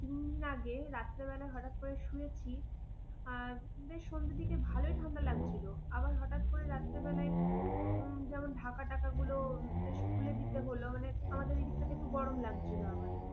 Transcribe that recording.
তিন দিন আগে রাত্রে বেলা হঠাৎ করে শুয়েছি, বেশ সন্ধের দিকে ভালোই ঠান্ডা লাগছিল। আবার হঠাৎ করে রাত্রে বেলায় যেমন ঢাকা টাকাগুলো বেশ খুলে দিতে হল। মানে আমাদের এই দিকটাতে একটু গরম লাগছিল।